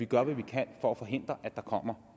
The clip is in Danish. gør hvad vi kan for at forhindre at der kommer